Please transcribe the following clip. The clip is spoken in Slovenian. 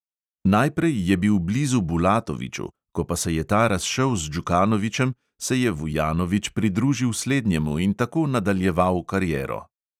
Najprej je bil blizu bulatoviću, ko pa se je ta razšel z džukanovićem, se je vujanović pridružil slednjemu in tako nadaljeval kariero.